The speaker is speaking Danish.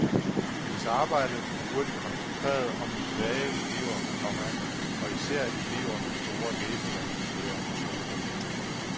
Hendes arbejde blev hurtigt koncentreret om de svage elever, komma og især elever med store læsevanskeligheder. punktum